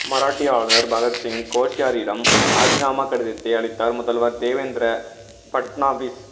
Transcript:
மராட்டிய ஆளுநர் பகத்சிங் கோஷ்யாரியிடம் ராஜினாமா கடிதத்தை அளித்தார் முதல்வர் தேவேந்திர ஃபட்னாவிஸ்